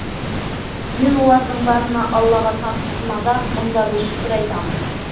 мен олардың барына аллаға сансыз мадақ мың да бір шүкір айтамын